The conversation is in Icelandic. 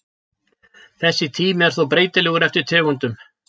Þessi tími er þó breytilegur eftir tegundum.